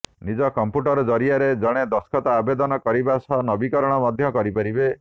ନିଜ କମ୍ପ୍ୟୁଟର୍ ଜରିଆରେ ଜଣେ ଦରଖାସ୍ତ ଆବେଦନ କରିବା ସହ ନବୀକରଣ ମଧ୍ୟ କରିପାରିବେ